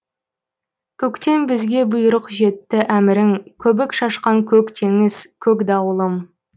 көктен бізге бұйрық жетті әмірің көбік шашқан көк теңіз көк дауылым